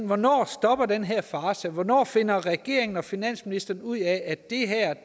hvornår stopper den her farce hvornår finder regeringen og finansministeren ud af at